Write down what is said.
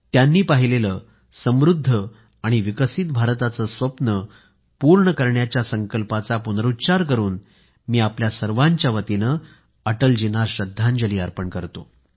त्यांनी पाहिलेलं समृद्ध आणि विकसित भारताचं स्वप्न पूर्ण करण्याच्या संकल्पाचा पुनरूच्चार करून मी आपल्या सर्वांच्या वतीनं अटलजींना श्रद्धांजली अर्पण करतो